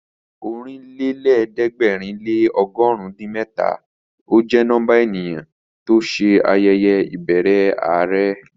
Ọ̀rìnlẹ́lẹ̀ẹ́dẹ̀gbẹ̀rin lé ọgọ̀run din mẹ́ta jẹ́ nọ́mbà ènìyàn ló lọ sí ayẹyẹ ìbẹrẹ are